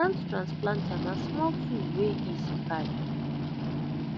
hand transplanter na small tool wey easy carry